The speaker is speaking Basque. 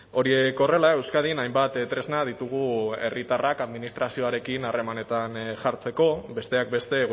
horiek horrela euskadin hainbat tresna ditugu herritarrak administrazioarekin harremanetan jartzeko besteak beste